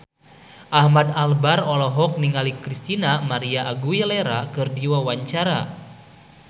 Ahmad Albar olohok ningali Christina María Aguilera keur diwawancara